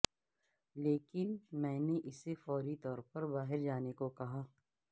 لیکن میں نے اسے فوری طور پر باہر جانے کو کہا